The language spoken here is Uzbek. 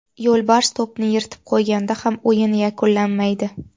Yo‘lbars to‘pni yirtib qo‘yganda ham o‘yin yakunlanmaydi.